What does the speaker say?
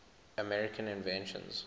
american inventions